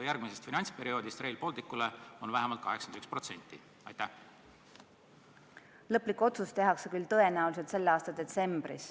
järgmisel finantsperioodil katab Euroopa Liidu raha vähemalt 81% Rail Balticu jaoks vaja minevast summast?